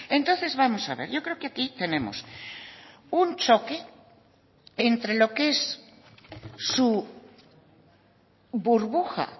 entonces vamos a ver yo creo que aquí tenemos un choque entre lo que es su burbuja